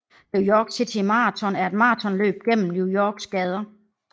New York City Marathon er et maratonløb gennem New Yorks gader